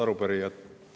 Head arupärijad!